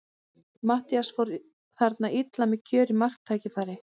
Matthías fór þarna illa með kjörið marktækifæri.